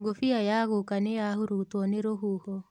Ngũbia ya guka nĩyahurutuo nĩ rũhuho.